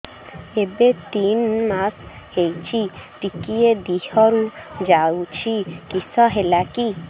ଏବେ ତିନ୍ ମାସ ହେଇଛି ଟିକିଏ ଦିହରୁ ଯାଉଛି କିଶ ହେଲାକି